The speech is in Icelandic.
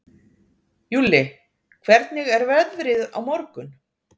Júlli, hvernig er veðrið á morgun?